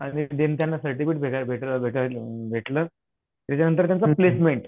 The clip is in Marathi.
आणि डीन त्यांना सर्टिफिकेट भेटलं त्याच्यानंतर त्यांचं प्लेसमेंट